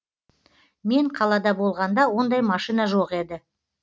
мен қалада болғанда ондай машина жоқ еді